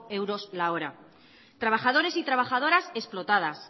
euros la hora trabajadores y trabajadoras explotadas